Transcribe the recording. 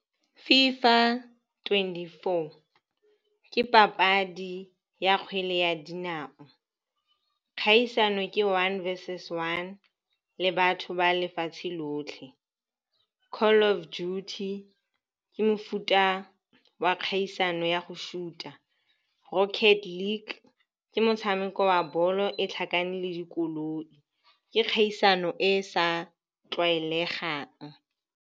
FIFA twenty-four ke papadi ya kgwele ya dinao, kgaisano ke one verses one le batho ba lefatshe lotlhe. Call of Duty ke mofuta wa kgaisano ya go shoot-a. Rocket League ke motshameko wa bolo e tlhakane le dikoloi, ke kgaisano e e sa tlwaelegang.